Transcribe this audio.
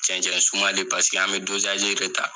Cɛncɛn sumalen an bɛ de ta.